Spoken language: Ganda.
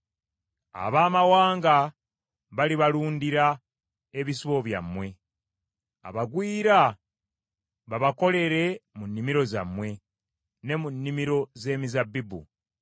Abaamawanga balibalundira ebisibo byammwe, abagwira babakolere mu nnimiro zammwe ne mu nnimiro z’emizabbibu.